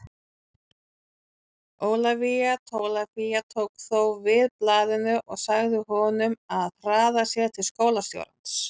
Ólafía Tólafía tók þó við blaðinu og sagði honum að hraða sér til skólastjórans.